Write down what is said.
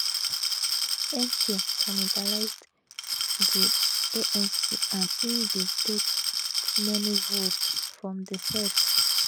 mk cannibalised di anc and im bin take many votes from di eff